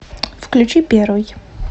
включи первый